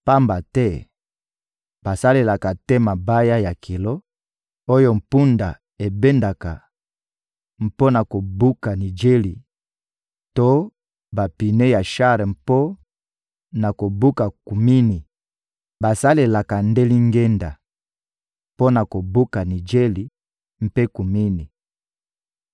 Pamba te basalelaka te mabaya ya kilo, oyo mpunda ebendaka mpo na kobuka nijeli to bapine ya shar mpo na kobuka kumini; basalelaka nde lingenda mpo na kobuka nijeli mpe kumini.